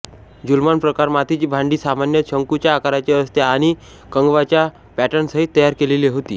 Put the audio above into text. ज्युलमॉन प्रकार मातीची भांडी सामान्यत शंकूच्या आकाराचे असते आणि कंगवाच्या पॅटर्नसहित तयार केलेली होती